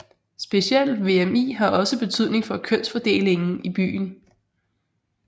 Specielt VMI har også betydning for kønsfordelingen i byen